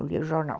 Eu lia o jornal.